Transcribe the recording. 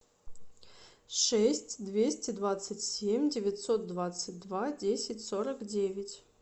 шесть двести двадцать семь девятьсот двадцать два десять сорок девять